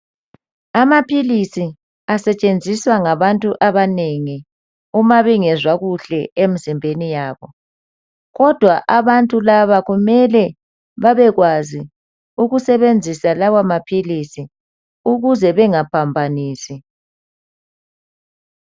Amaphilisi asetshenziswa ngabantu abanengi uma bengezwa kuhle emizimbeni yabo kodwa abantu laba kumele babe kwazi ukusebenzisa lawa maphilisi ukuze bengaphambanisi.